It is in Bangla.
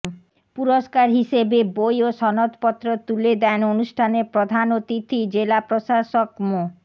পুরস্কার হিসেবে বই ও সনদপত্র তুলে দেন অনুষ্ঠানের প্রধান অতিথি জেলা প্রশাসক মো